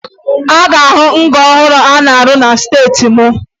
Ị ga-ahụ nga ọhụrụ a na-arụ na steeti m